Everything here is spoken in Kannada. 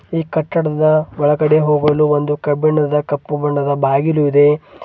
ಈ ಕಟ್ಟಡದ ಒಳಗಡೆ ಹೋಗಲು ಒಂದು ಕಬ್ಬಿಣದ ಕಪ್ಪು ಬಣ್ಣದ ಬಾಗಿಲು ಇದೆ.